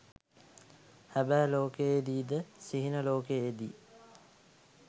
හැබෑ ලෝකයේ දී ද සිහින ලෝකයේ දී